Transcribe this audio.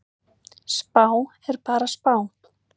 Spá er bara spá.